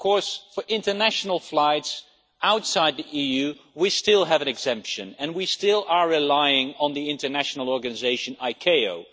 Of course, for international flights outside the EU we still have an exemption and we still rely on the international organisation ICAO.